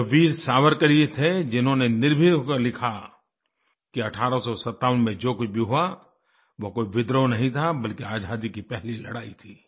यह वीर सावरकर ही थे जिन्होंने निर्भीक हो के लिखा कि 1857 में जो कुछ भी हुआ वो कोई विद्रोह नहीं था बल्कि आजादी की पहली लड़ाई थी